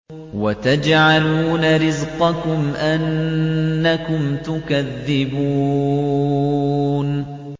وَتَجْعَلُونَ رِزْقَكُمْ أَنَّكُمْ تُكَذِّبُونَ